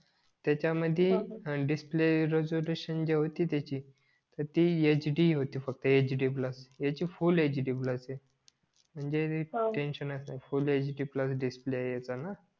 त्याच्या मध्ये display resolution जी होती त्याची तर ती यच डी होती फक्त यच डी ह्याची फुल यच डी प्लस आहे म्हणजे टेन्सिनच नाही full H D plus display ह्याचा ना